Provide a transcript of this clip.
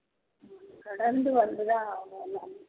கடந்து வந்து தான் ஆகணும்